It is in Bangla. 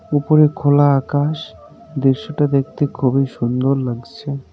উপরে খোলা আকাশ দৃশ্যটা দেখতে খুবই সুন্দর লাগছে।